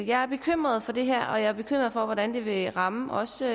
jeg er bekymret for det her og jeg er bekymret for hvordan det vil ramme også